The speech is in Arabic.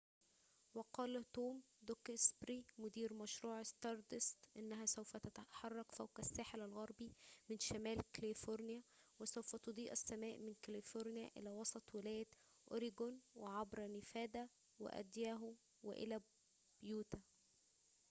وقال توم دوكسبري مدير مشروع ستاردست إنها سوف تتحرك فوق الساحل الغربي من شمال كاليفورنيا وسوف تضيء السماء من كاليفورنيا إلى وسط ولاية أوريغون وعبر نيفادا وأيداهو وإلى يوتا